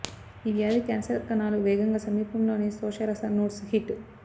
ఈ వ్యాధి క్యాన్సర్ కణాలు వేగంగా సమీపంలోని శోషరస నోడ్స్ హిట్